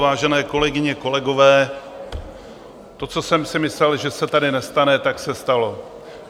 Vážené kolegyně, kolegové, to, co jsem si myslel, že se tady nestane, tak se stalo.